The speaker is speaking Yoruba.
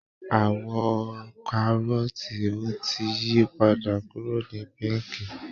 Àwọ̀ kárọ́ọ̀tì ò tí ì yi padà kúrò ní píńkì